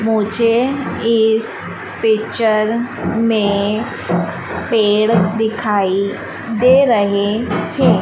मुझे इस पिक्चर में पेड़ दिखाई दे रहे हैं।